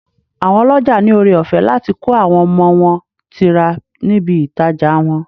Àwọn ọlọ́jà ní ọrẹ ọ̀fẹ́ láti kó àwọn ọmọ wọn tira níbi ìtajà wọn.